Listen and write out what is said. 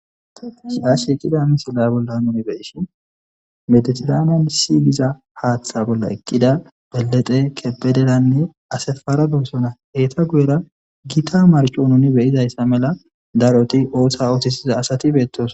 shi ash eqqida misila bolla nuni beyishi mediteramen siygiza haaththa bolla eqqida belete kepederanne asefara geessona heeta guyera gita marco nuni beyizayssa mela daroti ooththa ootisiza asati beettoos